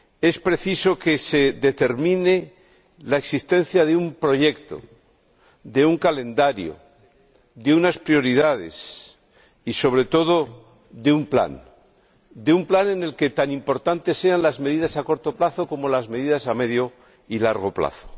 Es preciso que se determine la existencia de un proyecto, de un calendario, de unas prioridades y, sobre todo, de un plan en el que tan importantes sean las medidas a corto plazo como las medidas a medio y largo plazo.